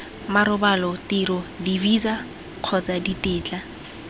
marobalo tiro divisa kgotsa ditetla